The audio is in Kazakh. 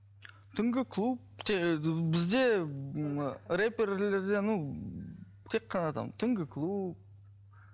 түнгі клуб бізде і рэперлерде ну тек қана там түнгі клуб